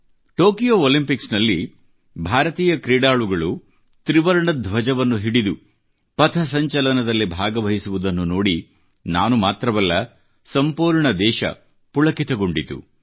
Tokyo Olympics ನಲ್ಲಿ ಭಾರತೀಯ ಕ್ರೀಡಾಳಗಳು ತ್ರಿವರ್ಣ ಧ್ವಜವನ್ನು ಹಿಡಿದು ಪಥ ಸಂಚಲನದಲ್ಲಿ ಭಾಗವಹಿಸುವುದನ್ನು ನೋಡಿ ನಾನು ಮಾತ್ರವಲ್ಲ ಸಂಪೂರ್ಣ ದೇಶ ಪುಳಕಿತಗೊಂಡಿತು